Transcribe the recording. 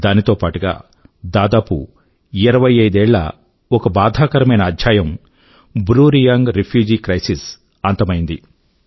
దానితో పాటుగా దాదాపు 25 ఏళ్ల ఒక బాధాకరమైన అధ్యాయం బ్రూ రియాంగ్ రిఫ్యూజీ క్రిసిస్ అంతమయింది